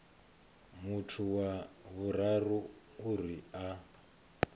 muthu wa vhuraru uri a